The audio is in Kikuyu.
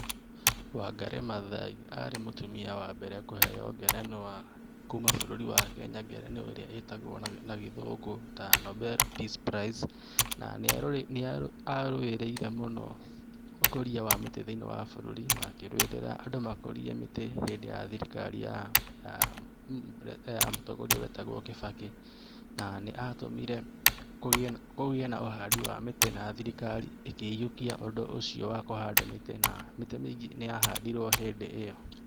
Wangarĩ Mathaai arĩ mũtumia wambere kũheo ngerenwa kuuma bũrũri wa Kenya ngerenwa ĩrĩa ĩtagwo na gĩthũngũ ta Nobel peace prize, na nĩarũĩrĩire mũno ũkũria wa mĩtĩ thĩiniĩ wa bũrũri na akĩrũĩrĩra andũ makũrie mĩtĩ hĩndĩ ya thirikari ya mũtongoria etagwo Kĩbakĩ na nĩatũmire kũgĩe na ũhandu wa mĩtĩ na thirikari ĩkĩihũkia ũndũ ũcio wa kũhanda mĩtĩ, na mĩtĩ mingĩ nĩyahandirwe hĩndĩ ĩyo .